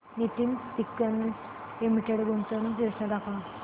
Nitin spinners limited गुंतवणूक योजना दाखव